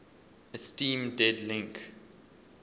esteem dead link